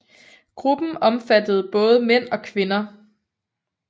Gruppen omfattede både mænd og kvinder